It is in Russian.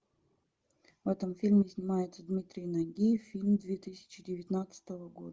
в этом фильме снимается дмитрий нагиев фильм две тысячи девятнадцатого года